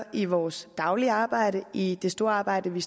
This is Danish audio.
i vores daglige arbejde og i det store arbejde vi